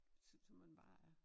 Sådan så man bare er